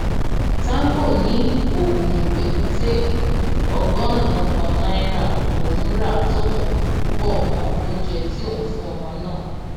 tanko ní oògùn èkúté ọgọrùnún kan náírà lòún ra tòun pọ mọ oúnjẹ tí òun fún ọmọ náà